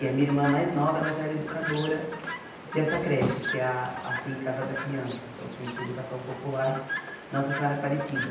E a minha irmã mais nova, ela já era educadora dessa creche, que é a a SEI Casa da Criança, que é o Centro de Educação Popular Nossa Senhora Aparecida.